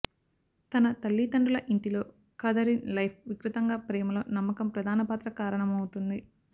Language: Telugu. తన తల్లితండ్రుల ఇంటి లో కాథరిన్ లైఫ్ వికృతంగా ప్రేమలో నమ్మకం ప్రధాన పాత్ర కారణమవుతుంది